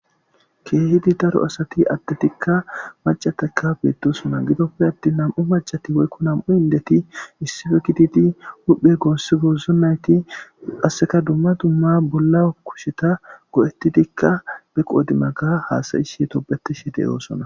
keehidi daro asati adde tikka macataka beettosuna gidoppe atti nam7u macati woykko nam7u hindeti issife kiditi huhphe goosse goozo nayti asseka dumma dumma bolla kusheta go7ettidikka be qoodimaga haasayishe tobeti she de oosona